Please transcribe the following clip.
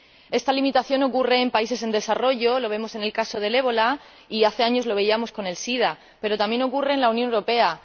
Esta limitación existe en países en desarrollo —lo vemos en el caso del ébola y hace años lo veíamos con el sida—, pero también en la Unión Europea.